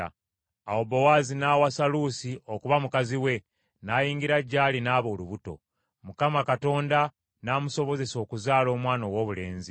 Awo Bowaazi n’awasa Luusi okuba mukazi we, n’ayingira gy’ali, n’aba olubuto, Mukama Katonda n’amusobozesa okuzaala omwana owoobulenzi.